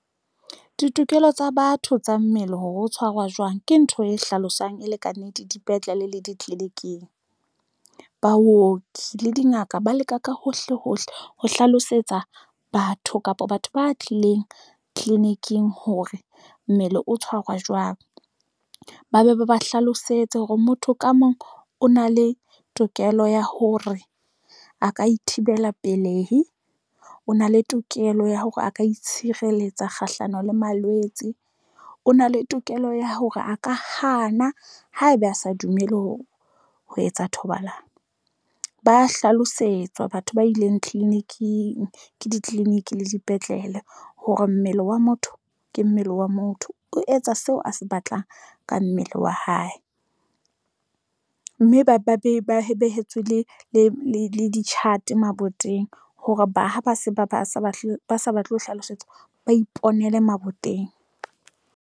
Ditokelo tsa batho tsa mmele hore ho tshwarwa jwang ke ntho e hlalosang e le kannete, dipetlele le ditleliniking. Baoki le dingaka ba leka ka hohle hohle ho hlalosetsa batho kapa batho ba tlileng tleliniking hore mmele o tshwarwa jwang. Ba be ba ba hlalosetse hore motho ka mong o na le tokelo ya hore a ka ithibela pelehi, o na le tokelo ya hore a ka itshireletsa kgahlano le malwetse. O na le tokelo ya hore a ka kganna haebe a sa dumele ho etsa thobalano. Ba hlalosetswa batho ba ileng tleliniking ke ditleliniki le dipetlele hore mmele wa motho ke mmele wa motho o etsa seo a se batlang ka mmele wa hae, mme ba be ba behetswe le di-chat maboteng hore ha se ba sa batle ho hlalosetsa ba iponele maboteng